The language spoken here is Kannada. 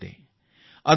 ಇದು ಸ್ವಚ್ಛತೆಯ ಸುದ್ದಿ